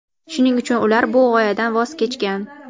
shuning uchun ular bu g‘oyadan voz kechgan.